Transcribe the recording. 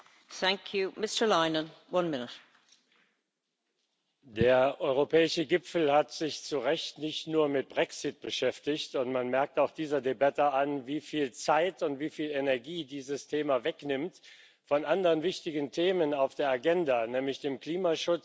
Frau Präsidentin! Der Europäische Gipfel hat sich zu Recht nicht nur mit dem Brexit beschäftigt, und man merkt auch dieser Debatte an, wie viel Zeit und wie viel Energie dieses Thema von anderen wichtigen Themen auf der Agenda wegnimmt, nämlich dem Klimaschutz und dem Umgang mit der Weltmacht China.